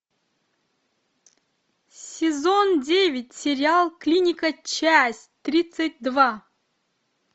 сезон девять сериал клиника часть тридцать два